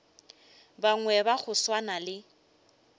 bangwe ba go swana le